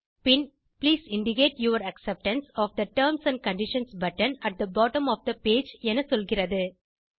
bin please indicate your acceptance of the terms and conditions button at the bottom of the page என சொல்கிறது